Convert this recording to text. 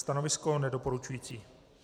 Stanovisko nedoporučující.